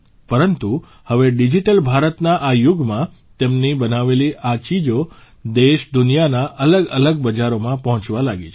પરંતુ હવે ડીજીટલ ભારતના આ યુગમાં તેમની બનાવેલી આ ચીજો દેશદુનિયાના અલગઅલગ બજારોમાં પહોંચવા લાગી છે